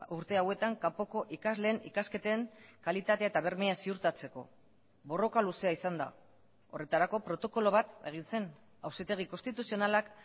urte hauetan kanpoko ikasleen ikasketen kalitatea eta bermea ziurtatzeko borroka luzea izan da horretarako protokolo bat egin zen auzitegi konstituzionalak